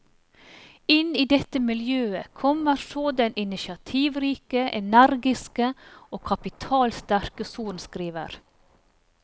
Inn i dette miljø kommer så den initiativrike, energiske og kapitalsterke sorenskriver.